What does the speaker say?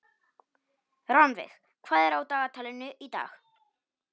Rannveig, hvað er á dagatalinu í dag?